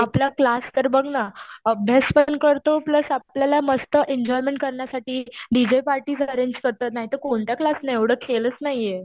आपला क्लास तर बघ ना, अभ्यास पण करतो प्लस आपल्याला मस्त एन्जॉयमेंट करण्यासाठी डीजे पार्टीज अरेंज करतात. नाहीतर कोणत्या क्लासला एवढं केलंच नाहीये.